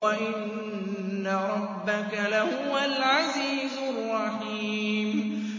وَإِنَّ رَبَّكَ لَهُوَ الْعَزِيزُ الرَّحِيمُ